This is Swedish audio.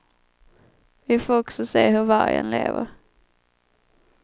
Vi får också se hur vargen lever.